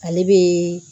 Ale bɛ